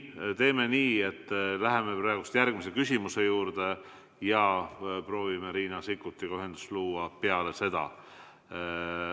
Teeme nii, et läheme praegu järgmise küsimuse juurde ja proovime Riina Sikkutiga ühendust luua peale seda.